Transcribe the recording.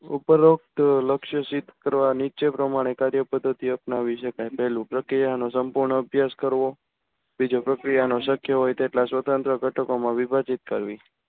ઉપરોક્ત લક્ષ સિદ્ધ કરવા નીચે પ્રમાણે કાર્ય પદ્ધતિ અપનાવી સકાય પહેલું પ્રક્રિયાનો સંપૂર્ણ અભ્યાસ કરવો બીજું પ્રક્રિયાનો શક્ય હોય તેટલા સ્વતંત્ર ગટકો માં વિભાજીત કરવી